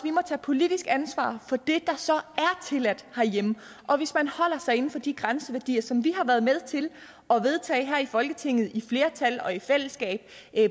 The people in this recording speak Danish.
må tage politisk ansvar for det der så og hvis man holder sig inden for de grænseværdier som vi har været med til at vedtage her i folketinget med flertal og i fællesskab